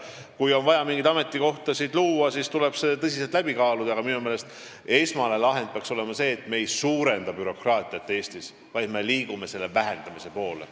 Kui on vaja mingeid ametikohti luua, siis tuleb see tõsiselt läbi kaaluda, aga minu meelest peaks esmane lahend olema see, et me ei suurenda bürokraatiat Eestis, vaid me liigume selle vähendamise poole.